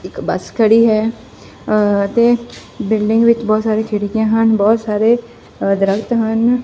ਇੱਕ ਬੱਸ ਖੜੀ ਹੈ ਅ ਤੇ ਬਿਲਡਿੰਗ ਵਿੱਚ ਬਹੁਤ ਸਾਰੀ ਖਿੜਕੀਆਂ ਹਨ ਬਹੁਤ ਸਾਰੇ ਅ ਦਰੱਖਤ ਹਨ।